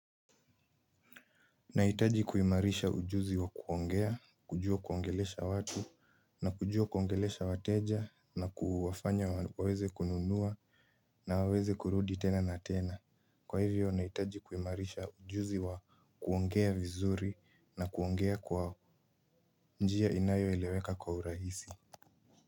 Nahitaji kuimarisha ujuzi wa kuongea kujua kuongelesha watu na kujua kuongelesha wateja na kuwafanya waweze kununua na waweze kurudi tena na tena. Kwa hivyo, nahitaji kuimarisha ujuzi wa kuongea vizuri, na kuongea kwa njia inayo eleweka kwa urahisi.